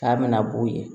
K'a mina b'o ye